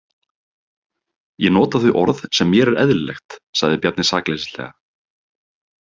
Ég nota þau orð sem mér er eðlilegt, sagði Bjarni sakleysislega.